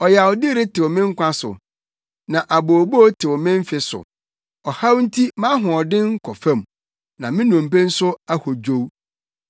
Ɔyawdi retew me nkwa so, na abooboo tew me mfe so; ɔhaw nti mʼahoɔden kɔ fam, na me nnompe nso ahodwow.